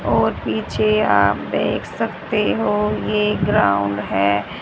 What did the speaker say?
और पीछे आप देख सकते हो ये ग्राउंड है।